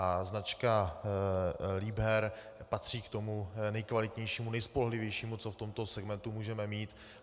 A značka Liebherr patří k tomu nekvalitnějšímu, nejspolehlivějšímu, co v tomto segmentu můžeme mít.